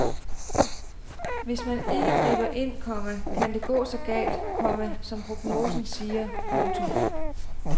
Hvis man ikke griber ind, komma kan det gå så galt, komma som prognosen siger. punktum